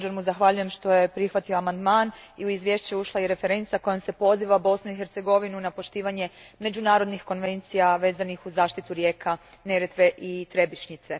Također mu zahvaljujem što je prihvatio amandman, u izvješće je ušla i referenca kojom se poziva Bosnu i Hercegovinu na poštivanje međunarodnih konvencija vezanih uz zaštitu rijeka Neretve i Trebišnjice.